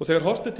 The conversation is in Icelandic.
þegar horft er til